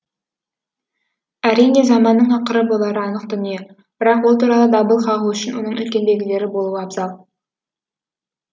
әрине заманның ақыры болары анық дүние бірақ ол туралы дабыл қағу үшін оның үлкен белгілері болуы абзал